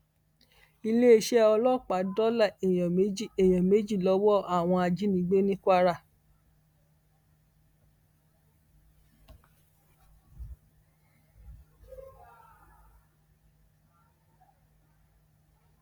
iléeṣẹ ọlọpàá dóòlà èèyàn méjì èèyàn méjì lọwọ àwọn ajínigbé ní kwara